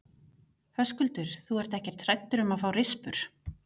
Höskuldur: Þú ert ekkert hræddur um að fá rispur?